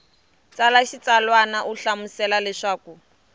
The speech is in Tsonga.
tsala xitsalwana u hlamusela leswaku